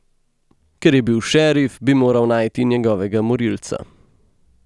Ker je bil šerif, bi moral najti njegovega morilca.